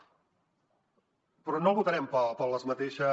però no votarem per les mateixes